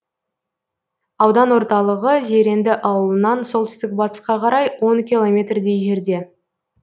аудан орталығы зеренді ауылынан солтүстік батысқа қарай он километрдей жерде